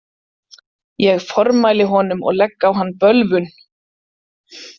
Ég formæli honum og legg á hann bölvun.